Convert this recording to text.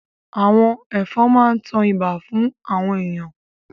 Àwọn ẹ̀fọn máa ń tan ibà fún àwọn èèyàn